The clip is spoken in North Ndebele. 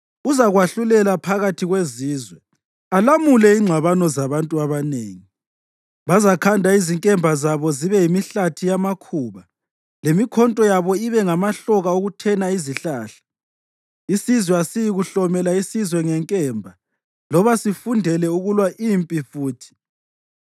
Uzakwahlulela phakathi kwezizwe, alamule ingxabano zabantu abanengi. Bazakhanda izinkemba zabo zibe yimihlathi yamakhuba, lemikhonto yabo ibe ngamahloka okuthena izihlahla. Isizwe asiyikuhlomela isizwe ngenkemba loba sifundele ukulwa impi futhi.